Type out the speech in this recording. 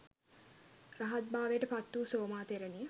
රහත්භාවයට පත් වූ සෝමා තෙරණිය